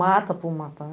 Mata por matar.